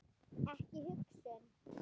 Ekki hugsun.